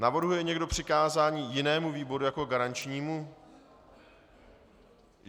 Navrhuje někdo přikázání jinému výboru jako garančnímu?